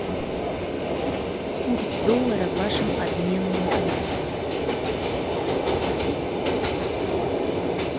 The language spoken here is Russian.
курс доллара в вашем обменном пункте